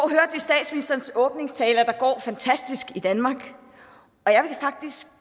statsministerens åbningstale at det går fantastisk i danmark